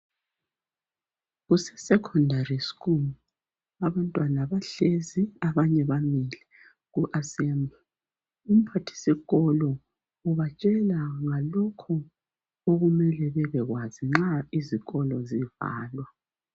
Kuse secondary school abantwana bahlezi abanye bamile ku assemble umphathisikolo ubatshela ngalokhu okumele bebekwazi nxa izikolo zivalwa